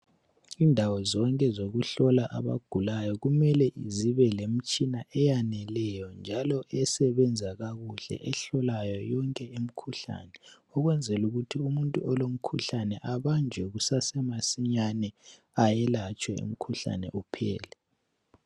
Indawo zonke zokuhlola abantu abagulayo kumele zibe lemitshina eyaneleyo njalo esebenzisa kakuhle ehlolayo yonke imikhuhlane ukwenzela ukuthi umuntu olomkhuhlane abanjwe kusasemasinyane ayelatshwe umkhuhlane uphele